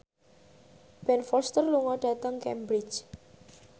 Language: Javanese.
Ben Foster lunga dhateng Cambridge